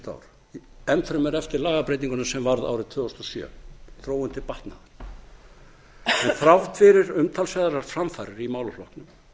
síðustu ár enn fremur eftir lagabreytinguna sem varð árið tvö þúsund og sjö þróun til batnaðar en þrátt fyrir umtalsverðar framfarir í málaflokknum